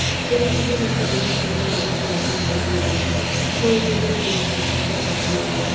Ũrĩ ta mwene kambuni kana mũramati wa kũruta andũ wĩra, no ũhũthĩre ngerekano cia kũruta andũ wĩra